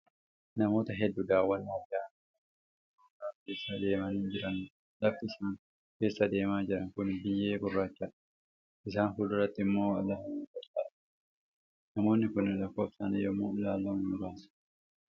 Namoota hedduu daawwannaaf yaa'an kan marga gogaa keessa deemaa jiranidha. Lafti isaan keessa deemaa jiran kun biyyee gurraachadha. Isaan fuulduraatti immoo lafa mullatu argama. Namoonni kun lakkoofsaan yommuu ilaallamu muraasa.